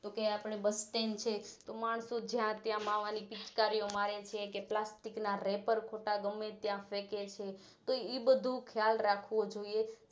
કે આપણે Busstand છે માણસો જ્યાં ત્યાં માવાની પિચકારીઓમારે છે કે પ્લાસ્ટિક ના રેપર ખોટા ગમે ત્યાં ફેકે છે તો ઈ બધું ખ્યાલ રાખવો જોઈએ